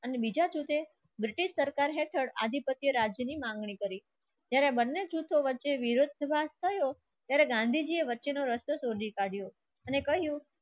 અને બીજા સુધે બ્રિટિશસરકાર સુધી આધિ સત્ય રાજ્યની માંગણી કરી. ત્યારે બંને જૂથો વચ્ચે વિરોધભાસ થયો ત્યારે ગાંધીજીએ વચ્ચેનો રસ્તો શોધી કાઢ્યો અને કહ્યું.